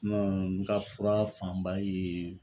n ka fura fanba ye